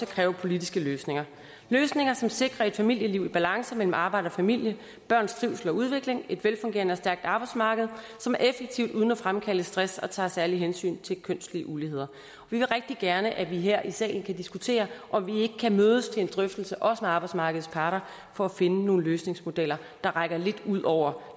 kræver politiske løsninger løsninger som sikrer et familieliv i balance mellem arbejde og familie børns trivsel og udvikling et velfungerende og stærkt arbejdsmarked som er effektivt uden at fremkalde stress og tager særlige hensyn til kønslige uligheder vi vil rigtig gerne at vi her i salen kan diskutere om vi ikke kan mødes til en drøftelse også med arbejdsmarkedets parter for at finde nogle løsningsmodeller der rækker lidt ud over